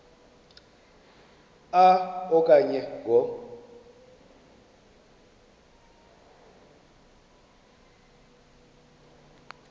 a okanye ngo